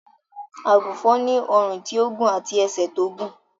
Àgùnfòn ni ọrùn tí ó gùn àti ẹsẹ̀ tí ó gùn